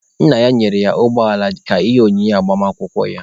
Nna ya nyere ya ụgbọala ka ihe onyinye agbamakwụkwọ ya.